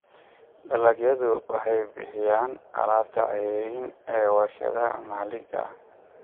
Dalagyadu waxay bixiyaan alaabta ceeriin ee warshadaha maxalliga ah.